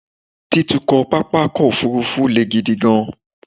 Títukọ̀ pápákọ̀ òfúrufú le gidi gan-an